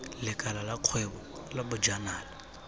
lekala la kgwebo la bojanala